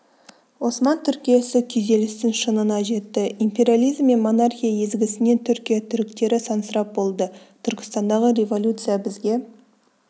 осман түркиясы күйзелістің шыңына жетті империализм мен монархия езгісінен түркия түріктері сансырап болды түркістандағы революция бізге